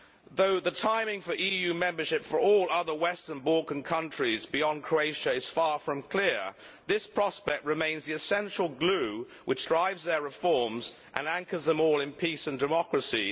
Though the timing for EU membership for all other Western Balkan countries beyond Croatia is far from clear, this prospect remains the essential glue which drives their reforms and anchors them all in peace and democracy.